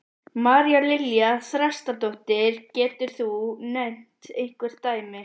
María Lilja Þrastardóttir: Getur þú nefnt einhver dæmi?